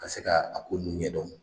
Ka se k'a ko ninnu ɲɛdɔn.